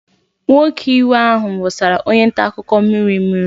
Nwoke iwe ahụ wụsara onye nta akụkọ mmiri mmiri.